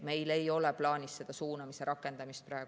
Meil ei ole plaanis praegu suunamist rakendada.